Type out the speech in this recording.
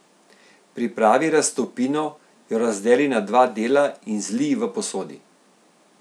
Pripravi raztopino, jo razdeli na dva dela in zlij v posodi.